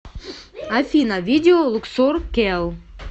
афина видео луксор кел